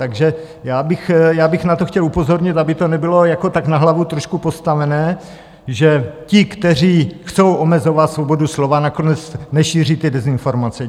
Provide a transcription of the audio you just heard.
Takže já bych na to chtěl upozornit, aby to nebylo jako tak na hlavu trošku postavené, že ti, kteří chtějí omezovat svobodu slova, nakonec nešíří ty dezinformace.